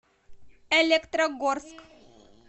электрогорск